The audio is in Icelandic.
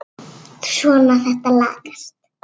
Svona, þetta lagast